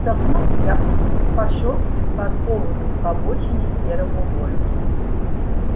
вздохнув я пошёл к припаркованному к обочине серому вольво